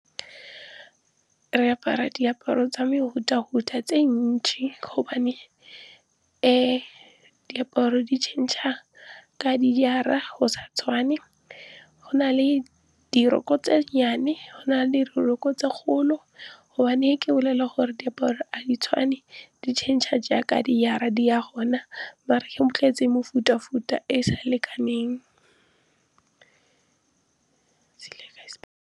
Re apara diaparo tsa mefuta-futa tse ntsi gobane diaparo di change-a ka dijara go sa tshwane. Go na le diroko ko tse nnyane, go na le diroko ko tse kgolo. Gobane ke bolela gore diaparo ga di tshwane, di change-a jaaka di ya gona. bo tletse mefuta-futa e e sa lekaneng.